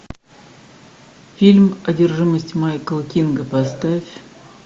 фильм одержимость майкла кинга поставь